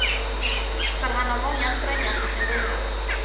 För han har många strängar på sin lyra.